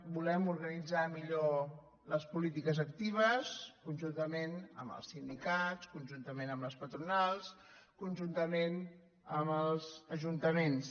volem organitzar millor les polítiques actives conjuntament amb els sindicats conjuntament amb les patronals conjuntament amb els ajuntaments